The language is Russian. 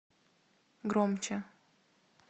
громче